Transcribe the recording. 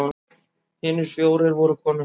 Hinir fjórir voru konur.